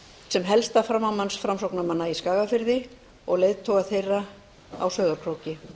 sem helsta framámanns framsóknarmanna í skagafirði og leiðtoga þeirra á sauðárkróki